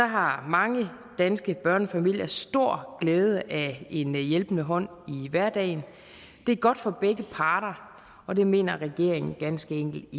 har mange danske børnefamilier stor glæde af en hjælpende hånd i hverdagen det er godt for begge parter og det mener regeringen ganske enkelt